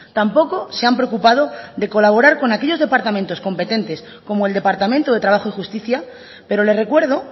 tampoco se han preocupado de colaborar con aquellos departamentos competentes como el departamento de trabajo y justicia pero le recuerdo